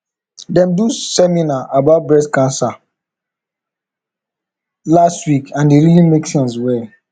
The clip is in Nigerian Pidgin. dem do seminar about breast cancer last week and e really make sense well